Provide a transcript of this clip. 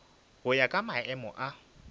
go ya ka maemo a